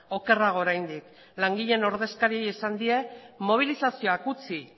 okerrago oraindik langileen ordezkariei esan die mobilizazioak utzi